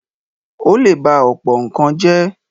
ó lè ba ọ̀pọ̀ nǹkan jẹ́.